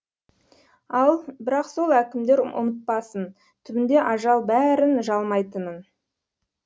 ал бірақ сол әкімдер ұмытпасын түбінде ажал бәрін жалмайтынын